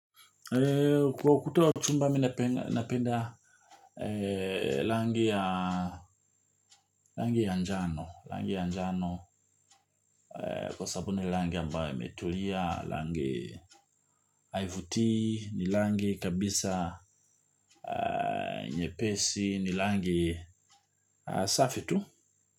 Kwa ukuta wa chumba mi napenda. Rangi ya njano, rangi ya njano, kwa sababu ni rangi ambayo imetulia, rangi haivutii, ni rangi kabisa nyepesi, ni rangi safi tu.